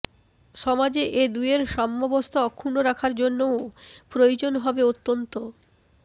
সমাজে এ দুয়ের সাম্যাবস্থা অক্ষুণ্ণ রাখার জন্যও প্রয়োজন হবে অত্যন্ত